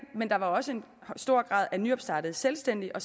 men der var også en stor grad af nyopstartede selvstændige og